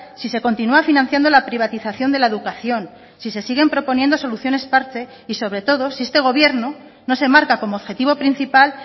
si se continúa financiando la privatización de la educación si se siguen proponiendo soluciones parche y sobre todo si este gobierno no se marca como objetivo principal